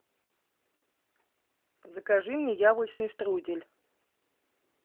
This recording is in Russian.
закажи мне яблочный штрудель